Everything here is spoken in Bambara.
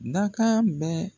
Dakan bɛ